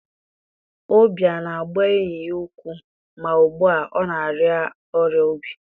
Obi a na-agba enyi ya ukwu, ma ugbu a ọ na-arịa ọrịa obi.